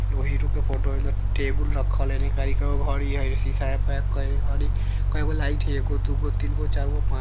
एगो हीरो के फोटो हई हेने टेबुल रखल हई हेने घड़ी हई सीसा में पैक करल घड़ी कए गो लाइट हई एगो दुगो तीनगो चरगो पाँच --